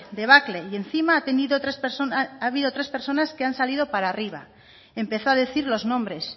debacle y encima ha habido tres personas que han salido para arriba empezó a decir los nombres